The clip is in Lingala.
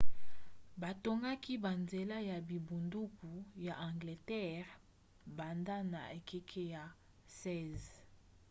batongaki banzela ya bingbunduku ya angleterre banda na ekeke ya 16